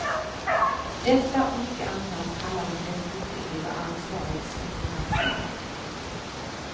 Detta och mycket annat kallar han det godtyckliga ansvarets ingenmansland.